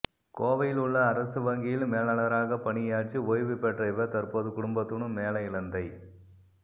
கோவையிலுள்ள அரசு வங்கியில் மேலாளராக பணியாற்றி ஓய்வு பெற்ற இவர் தற்போது குடும்பத்துடன் மேல இலந்தை